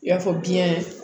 I y'a fɔ biɲɛ